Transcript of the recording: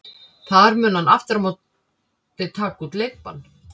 Þar mun hann aftur á móti taka út leikbann.